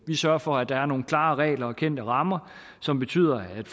vi sørger for at der er nogle klare regler og kendte rammer som betyder at